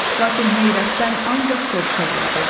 Lakin heyrətdən ancaq soruşa bildi: